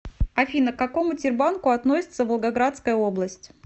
афина к какому тербанку относится волгоградская область